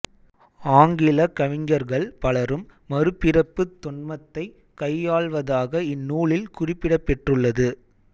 ஆங்கில கவிஞர்கள் பலரும் மறுபிறப்புத் தொன்மத்தைக் கையாள்வதாக இந்நூலில் குறிப்பிடப்பெற்றுள்ளது